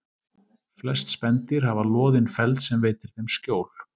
Flest spendýr hafa loðinn feld sem veitir þeim skjól.